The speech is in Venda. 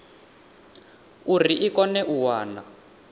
uri i kone u wana